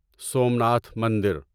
سومناتھ مندر